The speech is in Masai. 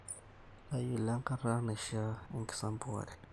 Tayiolou enkata naishiaa enksampuare